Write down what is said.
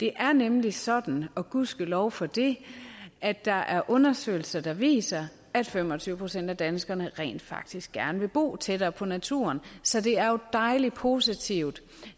det er nemlig sådan og gudskelov for det at der er undersøgelser der viser at fem og tyve procent af danskerne rent faktisk gerne vil bo tættere på naturen så det er dejlig positivt